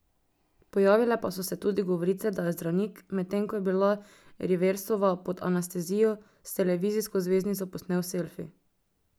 Pojavile pa so se tudi govorice, da je zdravnik, medtem ko je bila Riversova pod anestezijo, s televizijsko zvezdnico posnel selfi.